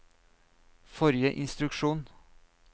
forrige instruksjon